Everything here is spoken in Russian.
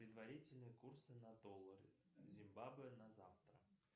предварительные курсы на доллары зимбабве на завтра